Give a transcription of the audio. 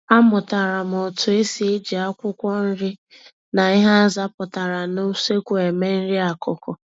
.Amụtara m otu esi eji akwụkwọ-nri, na ihe azapụtara n'usekwu eme nri-akụkụ